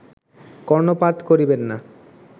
কর্ণপাত করিবেন না